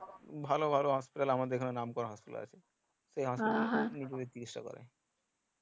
ভালো ভালো হাসপাতাল আমাদের এখানে নাম করা হাসপাতাল আছে